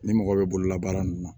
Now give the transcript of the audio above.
Ni mɔgɔ bɛ bololabaara ninnu na